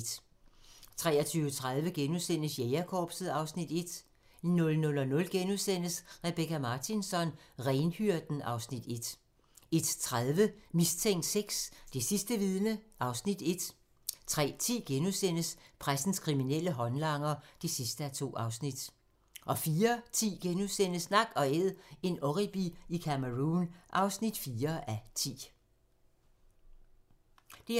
23:30: Jægerkorpset (Afs. 1)* 00:00: Rebecka Martinsson: Renhyrden (Afs. 1)* 01:30: Mistænkt VI: Det sidste vidne (Afs. 1) 03:10: Pressens kriminelle håndlanger (2:2)* 04:10: Nak & Æd - en oribi i Cameroun (4:10)*